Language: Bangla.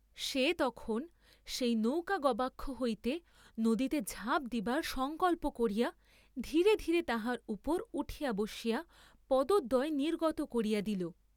সে তখন সেই নৌকা গবাক্ষ হইতে নদীতে ঝাঁপ দিবার সঙ্কল্প করিয়া ধীরে ধীরে তাহার উপর উঠিয়া বসিয়া পদদ্বয় নির্গত করিয়া দিল।